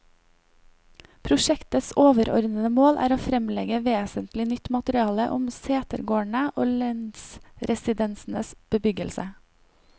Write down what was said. Prosjektets overordede mål er å fremlegge vesentlig nytt materiale om setegårdene og lensresidensenes bebyggelse.